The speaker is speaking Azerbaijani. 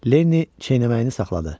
Lenni çeynəməyini saxladı.